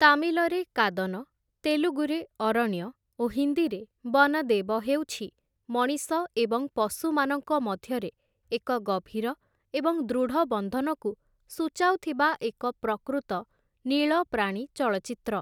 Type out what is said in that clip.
ତାମିଲରେ କାଦନ, ତେଲୁଗୁରେ ଅରଣ୍ୟ ଓ ହିନ୍ଦୀରେ ବନଦେବ, ହେଉଛି ମଣିଷ ଏବଂ ପଶୁମାନଙ୍କ ମଧ୍ୟରେ ଏକ ଗଭୀର ଏବଂ ଦୃଢ଼ ବନ୍ଧନକୁ ସୂଚାଉଥିବା ଏକ ପ୍ରକୃତ ନୀଳ ପ୍ରାଣୀ ଚଳଚ୍ଚିତ୍ର ।